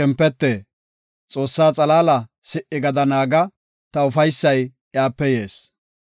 Ta shempete! Xoossaa xalaala si77i gada naaga; ta ufaysay iyape yees.